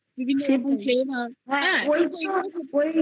বিভিন্ন রকম flavour